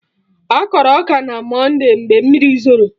Akọrọ ọka na monde mgbe mmiri zoro